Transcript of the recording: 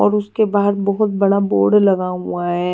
और उसके बाहर बहुत बड़ा बोर्ड लगा हुआ है।